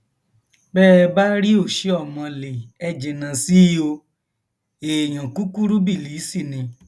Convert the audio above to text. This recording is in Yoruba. bẹ ẹ bá ríoshiomhole ẹ jìnnà sí i o èèyàn kúkúrú bílíìsì ni